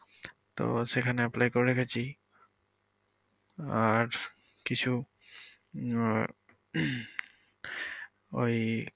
তো সেখানে apply করে রেখেছি আর কিছু উম ওই।